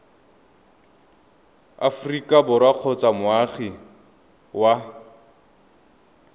aforika borwa kgotsa moagi wa